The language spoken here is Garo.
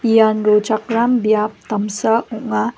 ian rochakram biap damsa ong·a.